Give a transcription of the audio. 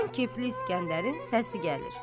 Uzaqdan kefli İsgəndərin səsi gəlir.